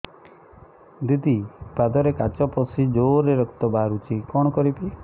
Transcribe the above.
ଦିଦି ପାଦରେ କାଚ ପଶି ଜୋରରେ ରକ୍ତ ବାହାରୁଛି କଣ କରିଵି